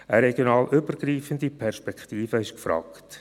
Eine regional übergreifende Perspektive ist gefragt.